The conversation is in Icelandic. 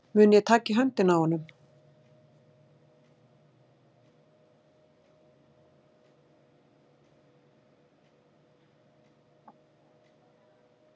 Mun ég taka í höndina á honum?